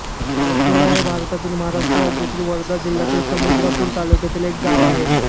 पारसोडा हे भारतातील महाराष्ट्र राज्यातील वर्धा जिल्ह्यातील समुद्रपूर तालुक्यातील एक गाव आहे